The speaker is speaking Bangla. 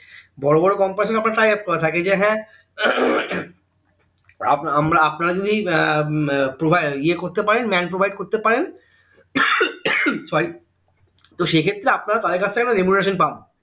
বড়ো বড়ো company সঙ্গে tie up করা থাকে যে হ্যাঁ উহ উম আমরা আপনারা যদি এর হম ইয়ে করতে পারেন man provide করতে পারেন sorry তো সে ক্ষেত্রেআপনারা তাদের কাজথেকে remuneration পান